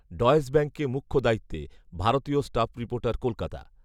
Deutsche ব্যাঙ্কে মুখ্য দায়িত্বে, ভারতীয় স্টাফ রিপোর্টার কলকাতা।